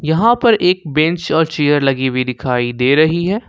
यहां पर एक बेंच और चेयर लगी हुई दिखाई दे रही है।